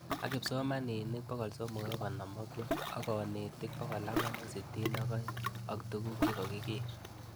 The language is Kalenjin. Ak kipsomanik 3 5 6 ak kanetik 4 6 2 ak tuguk che kakiker